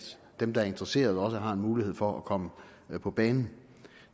dem der er interesserede har en mulighed for at komme på banen